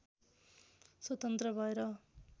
स्वतन्त्र भएर